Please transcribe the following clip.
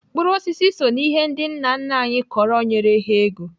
Mkpụrụ osisi so n'ihe ndị nna nna anyị kọrọ nyere ha ego.